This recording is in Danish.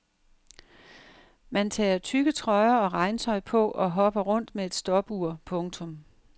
Man tager tykke trøjer og regntøj på og hopper rundt med et stopur. punktum